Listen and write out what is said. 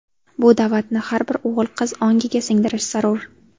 Bu da’vatni har bir o‘g‘il-qiz ongiga singdirish zarur.